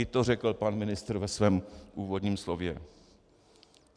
I to řekl pan ministr ve svém úvodním slově.